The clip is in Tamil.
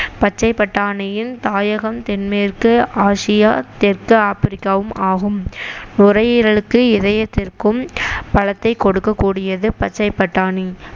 பச்சை பட்டாணியின் தாயகம் தென்மேற்கு ஆசியா தெற்கு ஆப்பிரிக்காவும் ஆகும் நுரையீரலுக்கு இதயத்திற்கும் பலத்தை கொடுக்கக்கூடியது பச்சை பட்டாணி